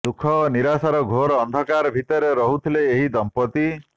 ଦୁଃଖ ଓ ନିରାଶର ଘୋର ଅନ୍ଧକାର ଭିତରେ ରହୁଥିଲେ ଏହି ଦଂପତି